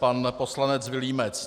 Pan poslanec Vilímec.